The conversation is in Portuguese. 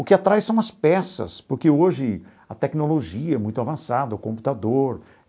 O que atrai são as peças, porque hoje a tecnologia é muito avançada, o computador.